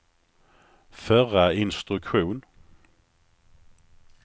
förra instruktion